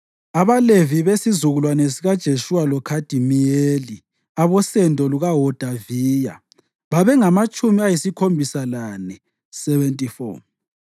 AbaLevi: besizukulwane sikaJeshuwa loKhadimiyeli (abosendo lukaHodaviya) babengamatshumi ayisikhombisa lane (74).